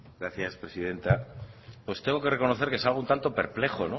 gracias presidenta pues tengo que reconocer que salgo un tanto perplejo